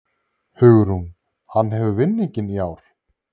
Hugrún: Hann hefur vinninginn í ár?